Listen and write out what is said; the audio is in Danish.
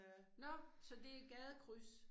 Nå, så det et gadekryds?